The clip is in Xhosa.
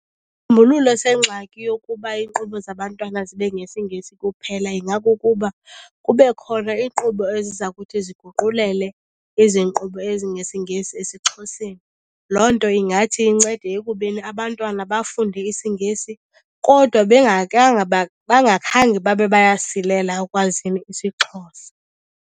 sengxaki yokuba iinkqubo zabantwana zibe ngesiNgesi kuphela ingakukuba kube khona iinkqubo eziza kuthi ziguqulele ezi nkqubo ezingesiNgesi esiXhoseni. Loo nto ingathi incede ekubeni abantwana bafunde isiNgesi kodwa bengakange, bangakhange babe bayasilela ekwazini isiXhosa.